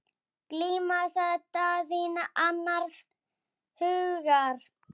Glíma, sagði Daðína annars hugar.